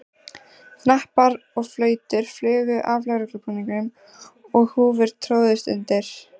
Hnappar og flautur flugu af lögreglubúningum og húfur tróðust undir.